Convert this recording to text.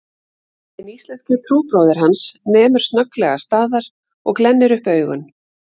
Hinn íslenski trúbróðir hans nemur snögglega staðar og glennir upp augun